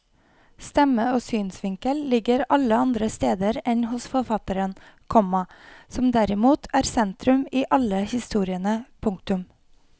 Stemme og synsvinkel ligger alle andre steder enn hos forfatteren, komma som derimot er sentrum i alle historiene. punktum